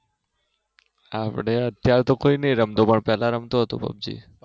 આપડે અત્યારે તો કોઈ ની રમતો પેલા રમતો હતો પબજી